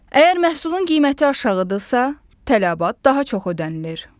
Əgər məhsulun qiyməti aşağıdırsa, tələbat daha çox ödənilir.